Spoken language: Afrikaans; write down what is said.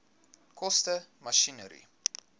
koste masjinerie